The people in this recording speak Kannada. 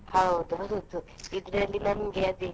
ಹೌದು ಅದೊಂದು ಇದರಲ್ಲಿ ನಮಗೆ ಅದೇ.